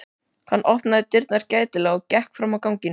Hann opnaði dyrnar gætilega og gekk fram á ganginn.